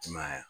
I ma ye wa